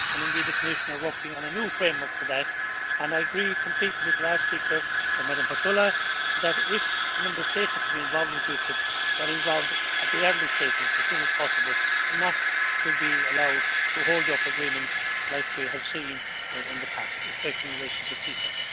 Indeed the Commission is working on a new framework for that and I agree completely with the last speaker, Ms Hautala, that if the Member States are to be involved in future, they are involved at the early stages, as soon as possible, and not to be allowed to hold up agreements as we have seen in the past, especially in relation to CETA.